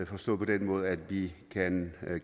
forstået på den måde at vi